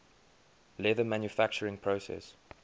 leather manufacturing process